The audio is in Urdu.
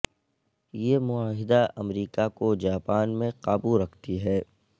یہ معاہدے امریکہ کو جاپان میں قابو رکھتی ہے